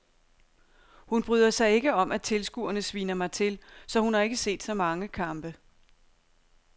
Hun bryder sig ikke om at tilskuerne sviner mig til, så hun har ikke set så mange kampe.